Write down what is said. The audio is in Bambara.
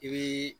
I bii